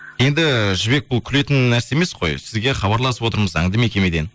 енді жібек бұл күлетін нәрсе емес қой сізге хабарласып отырмыз заңды мекемеден